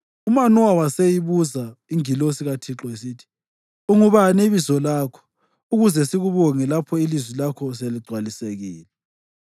UManowa waseyibuza ingilosi kaThixo esithi, “Ungubani ibizo lakho, ukuze sikubonge lapho ilizwi lakho seligcwalisekile?”